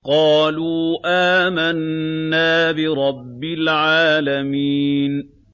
قَالُوا آمَنَّا بِرَبِّ الْعَالَمِينَ